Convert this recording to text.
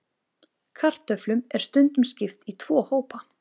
Kartöflum er stundum skipt í tvo hópa.